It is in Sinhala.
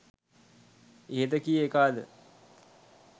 ඉහත කී එකාද